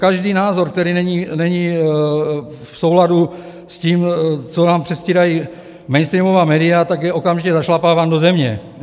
Každý názor, který není v souladu s tím, co vám předstírají mainstreamová média, tak je okamžitě zašlapáván do země.